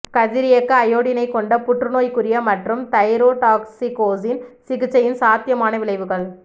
கதிரியக்க அயோடினைக் கொண்ட புற்றுநோய்க்குரிய மற்றும் தைரோடாக்சிகோசின் சிகிச்சையின் சாத்தியமான விளைவுகள்